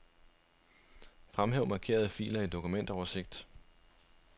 Fremhæv markerede filer i dokumentoversigt.